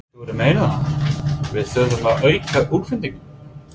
Þú ert að meina það, við þurfum að auka útflutninginn?